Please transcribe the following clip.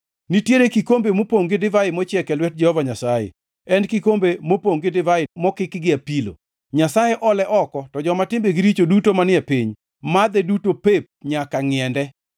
Nitiere kikombe mopongʼ gi divai mochiek e lwet Jehova Nyasaye en kikombe mopongʼ gi divai mokik gi apilo, Nyasaye ole oko, to joma timbegi richo duto manie piny madhe duto pep nyaka ngʼiende.